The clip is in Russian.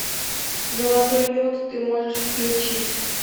золотой лед ты можешь включить